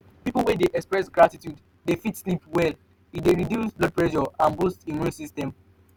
pipo wey de express gratitude de fit sleep well e de reduce blood pressure and boost immune system